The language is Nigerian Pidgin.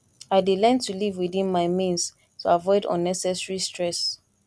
i dey learn to live within my means to avoid unnecessary stress